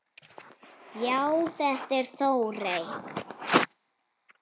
Já, þetta er Þórey.